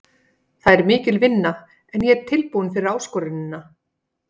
Það er mikil vinna en ég er tilbúinn fyrir áskorunina.